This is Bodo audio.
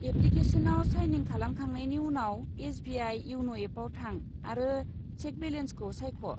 एप्लिकेस'नाव साइनिं खालामखांनायनि उनाव, एस.बि.आइ. इयन' एपआव थां आरो शेक बेलेन्सखौ सायख'।